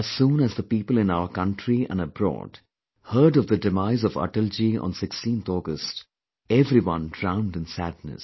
As soon as the people in our country and abroad heard of the demise of Atalji on 16th August, everyone drowned in sadness